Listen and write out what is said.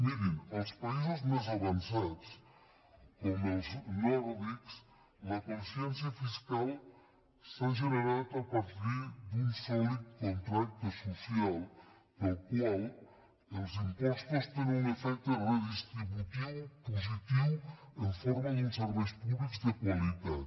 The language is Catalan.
mirin als països més avançats com els nòrdics la consciència fiscal s’ha generat a partir d’un sòlid contracte social pel qual els impostos tenen un efecte redistributiu positiu en forma d’uns serveis públics de qualitat